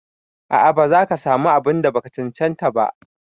A'a ba zaka samu abun da baka cancanta ba.